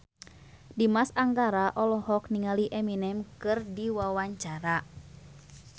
Dimas Anggara olohok ningali Eminem keur diwawancara